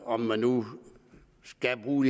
om man nu skal bruge